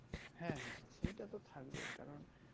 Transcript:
হ্যাঁ হ্যাঁ সেইটা তো থাকবেই কারণ